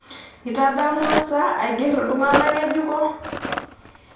Itadamua sa aigerr iltung'gana ngejuko?